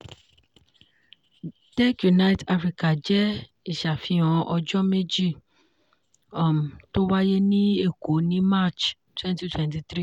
tech unite africa jẹ́ ìṣáfihàn ọjọ́ méjì um tó wáyé ní èkó ní march twenty twenty three